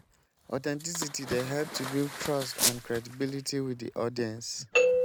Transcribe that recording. authenticity dey help to build trust and credibility with di audience.